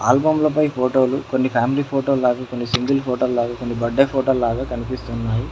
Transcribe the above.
ఆల్బమ్లపై ఫోటోలు కొన్ని family photo లగా కొన్ని సింగిల్ ఫోటో లగా కొన్ని బర్త్డే ఫోటో లగా కనిపిస్తున్నాయి.